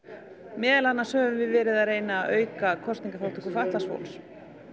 meðal annars höfum við verið að reyna að auka kosningaþátttöku fatlaðs fólks